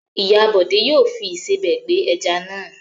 Ìyá Bọ̀dé yóò fi ìsebẹ̀ gbẹ ẹja náà.